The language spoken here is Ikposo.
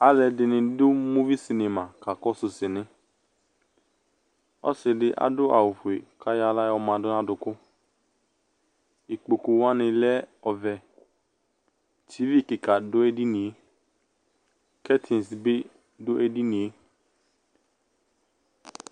aloɛdini do muvi cinema ka kɔsu sini ɔse di ado awu fue k'ayɔ ala yɔ ma n'adòku ikpkoku wani lɛ ɔvɛ tv keka do edinie kɛtins bi do edinie